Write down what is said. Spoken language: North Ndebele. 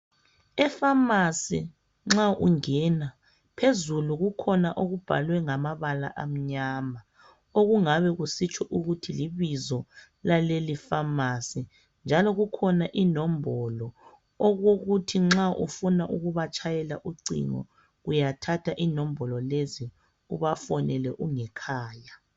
E pharmacy nxa ungena phezulu kukhona okubhalwe ngamabala amnyama okungabe kusitsho ukuthi libizo lale iphamarcy njalo kukhona inombolo okokuthi nxa ufuna ukubatshayela ucingo uyathatha inombolo lezi ubafonele ungekhaya